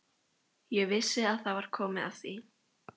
Ég vissi að það var komið að því.